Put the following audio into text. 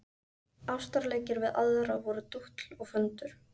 Ástarleikir við aðra voru dútl og föndur.